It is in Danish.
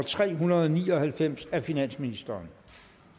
tre hundrede og ni og halvfems af finansministeren